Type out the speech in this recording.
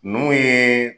Ninnu ye